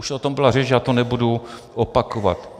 Už o tom byla řeč a já to nebudu opakovat.